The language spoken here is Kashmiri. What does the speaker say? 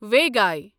وایگے